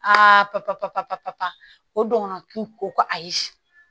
Aa papatɔ o dɔgɔnɔ tu ko ko ayi